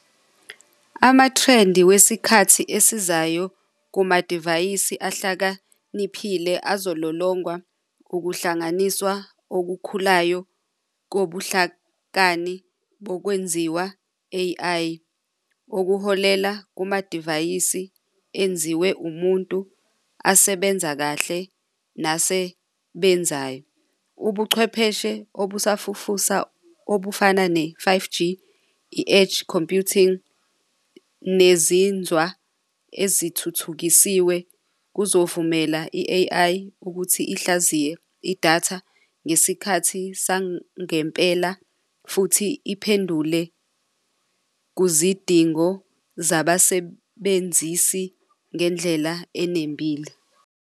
Amathrendi wesikhathi esizayo kumadivayisi ahlakaniphile azololongwa ukuhlanganiswa okukhulayo kobuhlakani bokwenziwa, A_I, okuholela kumadivayisi enziwe umuntu asebenza kahle, nasebenzayo. Ubuchwepheshe obusafufusa obufana ne-five-G, i-edge computing nezinzwa ezithuthukisiwe kuzovumela i-A_I ukuthi ihlaziye idatha ngesikhathi sangempela futhi iphendule kuzidingo zabasebenzisi ngendlela enembile.